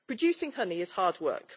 Producing honey is hard work.